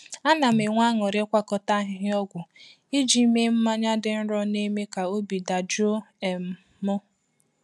Anam enwe ańuri ikwakota ahihia ogwu ijii mee manya di nro na eme ka ọbi da jụọ um m.